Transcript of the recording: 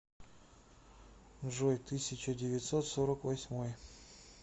джой тысяча девятьсот сорок восьмой